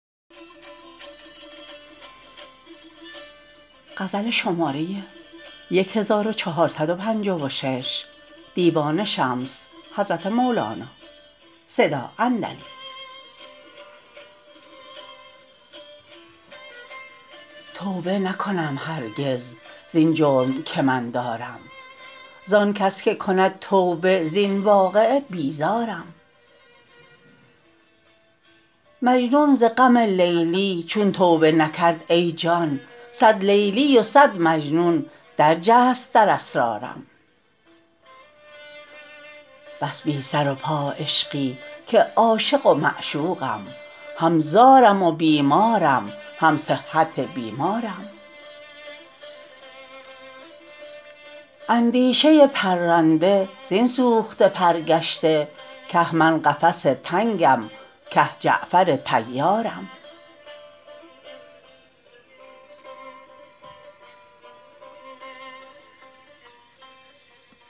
توبه نکنم هرگز زین جرم که من دارم زان کس که کند توبه زین واقعه بیزارم مجنون ز غم لیلی چون توبه نکرد ای جان صد لیلی و صد مجنون درجست در اسرارم بس بی سر و پا عشقی که عاشق و معشوقم هم زارم و بیمارم هم صحت بیمارم اندیشه پرنده زین سوخته پر گشته که من قفس تنگم که جعفر طیارم